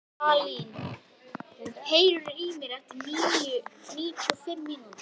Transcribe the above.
Salín, heyrðu í mér eftir níutíu og fimm mínútur.